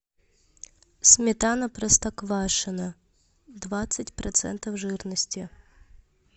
сметана простоквашино двадцать процентов жирности